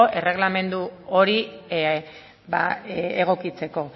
erreglamendu hori egokitzeko